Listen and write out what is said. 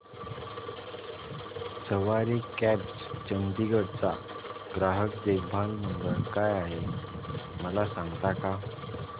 सवारी cabs Chandigarh चा ग्राहक देखभाल नंबर काय आहे मला सांगता का